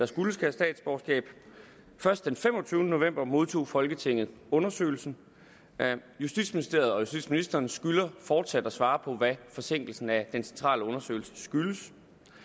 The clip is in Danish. skulle have statsborgerskab først den femogtyvende november modtog folketinget undersøgelsen justitsministeriet og justitsministeren skylder fortsat at svare på hvad forsinkelsen af den centrale undersøgelse skyldes